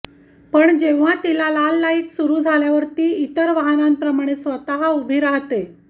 पण जेव्हा तिला लाल लाइट सुरू झाल्यावर ती इतर वाहनांप्रमाणे स्वतः उभी राहते